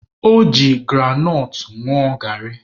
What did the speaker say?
O ji granọt ṅụọ garị.